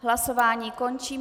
Hlasování končím.